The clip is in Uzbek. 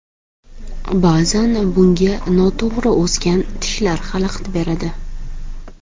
Ba’zan bunga noto‘g‘ri o‘sgan tishlar xalaqit beradi.